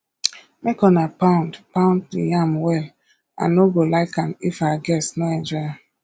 make una pound pound the yam well i no go like am if our guests no enjoy am